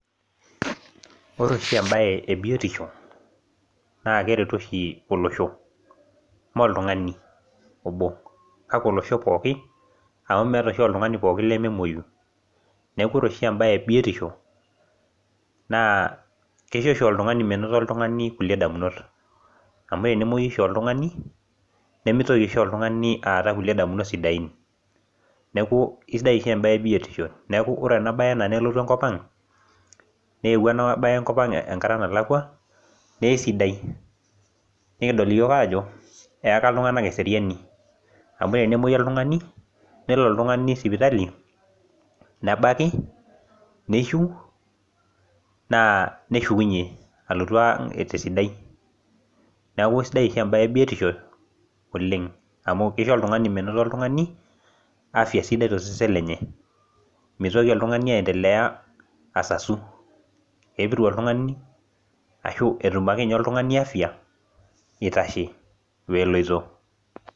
ore oshi ebae ebiotisho. naa keretu oshi olosho, imme oltungani obo. kake olosho pooki, amu meeta oshi oltungani lememuoyu. neku ore sohi ebae ebiotisho, kisho oshi oltungani menoto kulie damunot. amu tenemuoyu oshi oltungani, nemitoki oshi oltungani aata kulie damunot sidain, neeku kisidai oshi ebae ebiotisho. neeku ore ena bae anaa nelotu enkop ang, newuo ena bae enkop ang enkata nalakua, naa eisidai. nikidol iyiook aajo eyakai iltunganak eseriani. amu tenemuoyu oltungani. nelo oltungani sipitali. nebaki. nishiu, naa neshukunye ealotu ang' tesidai. neu isidai oshi ebae ebitiso oleng. amu kisho oltungani menoto oltungani afia sidai, toseen lenye. mioki oltungani aendelea asasu. kepiru oltungani, ashu etum ake ninye oltungani afia eitashe. weeloito.